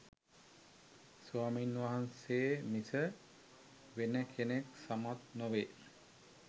ස්වාමින් වහන්සේ මිස වෙන කෙනෙක් සමත් නොවේ